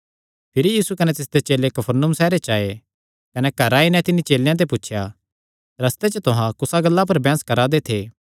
भिरी यीशु कने तिसदे चेले कफरनहूम सैहरे च आये कने घरैं आई नैं तिन्नी चेलेयां ते पुछया रस्ते च तुहां कुसा गल्ला पर बैंह्स करा दे थे